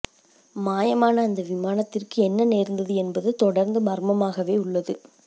மாயமான அந்த விமானத்திற்கு என்ன நேர்ந்தது என்பது தொடர்ந்து மர்மமாகவே உள்ளது